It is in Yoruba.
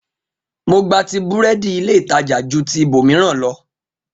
Mo gbati búrẹ́dì ilé ìtajà ju ti ibòmíràn lọ